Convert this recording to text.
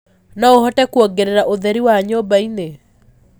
no uhote kuongerera ũtherĩ wa nyumba ini